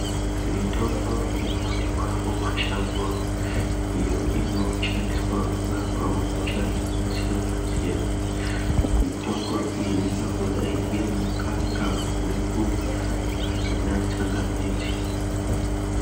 Mitombo inowanikwa mumashango iyo inoshandiswa kurapawo hosha dzakasiyana. Mitombo iyi ingangodai iri ngaka, guku kana ana tsangamidzi.